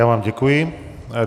Já vám děkuji.